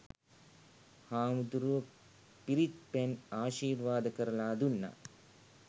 හාමුදුරුවො පිරිත් පැන් ආශිර්වාද කරලා දුන්නා.